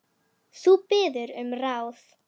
Þú biður um ráð.